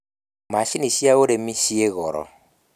Macini cia ũrĩmi ciĩ goro